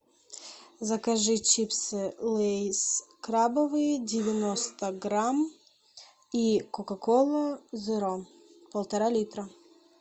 закажи чипсы лейс крабовые девяносто грамм и кока колу зеро полтора литра